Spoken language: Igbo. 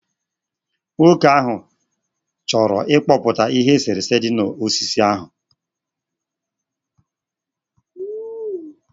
Nwoke ahụ chọrọ ịkpụpụta ihe eserese dị na osisi ahụ